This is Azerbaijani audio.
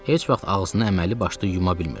Heç vaxt ağzını əməlli başlı yuya bilmirdi.